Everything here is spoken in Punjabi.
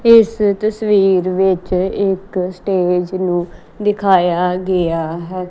ਇਸ ਤਸਵੀਰ ਵਿੱਚ ਇੱਕ ਸਟੇਜ ਨੂੰ ਦਿਖਾਇਆ ਗਿਆ ਹੈ।